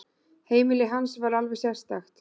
Heimili hans var alveg sérstakt.